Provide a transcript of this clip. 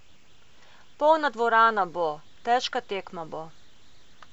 Polna dvorana bo, težka tekma bo.